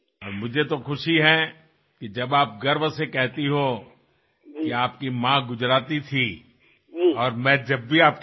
দিদি আপোনাৰ আশীৰ্বাদ বৰষি থাকক সমগ্ৰ দেশত আপোনাৰ আশীৰ্বাদ বৰষি থাকক আৰু মোৰ দৰে মানুহে কিবা নহয় কিবা এটা ভাল কাম কৰি থাকক আপুনি মোক সদায়েই প্ৰেৰণা দিছে